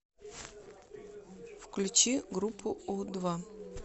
включи группу у два